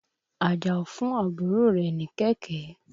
Àjàó fún àbúrò rẹ̀ ní kẹ̀kẹ́.